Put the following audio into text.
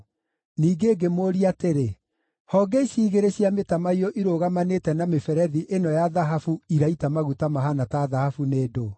Ningĩ ngĩmũũria atĩrĩ, “Honge ici igĩrĩ cia mĩtamaiyũ irũgamanĩte na mĩberethi ĩno ya thahabu iraita maguta mahaana ta thahabu nĩ ndũũ?”